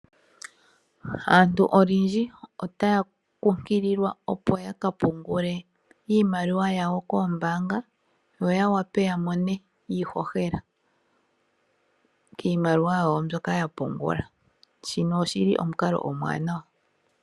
Aantu olundji otaya kunkililwa ya ka pumgule iimaliwa yawo koombaanga ya wape ya mone iihohela kuza kiimaliwa yawo mbyoka ya pungula shino oshi li omukalo omuwanawa.